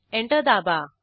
enter दाबा